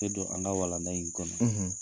Te don an ka walanda in kɔnɔ